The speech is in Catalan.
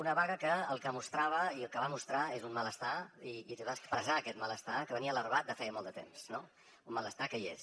una vaga que el que va mostrar és un malestar i va expressar aquest malestar que venia larvat de feia molt de temps no un malestar que hi és